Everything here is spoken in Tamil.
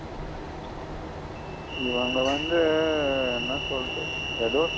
இவுங்க வந்து என்ன சொல்லுறது எதோ.